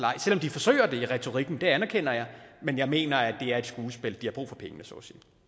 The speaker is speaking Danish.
ej selv om de forsøger det i retorikken det anerkender jeg men jeg mener at det er et skuespil de har brug for pengene så